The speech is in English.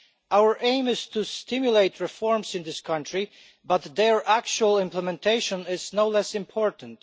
Our aim is to stimulate reforms in this country but their actual implementation is no less important.